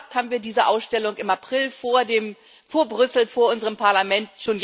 Wenn alles klappt, haben wir diese Ausstellung im April in Brüssel vor unserem Parlament.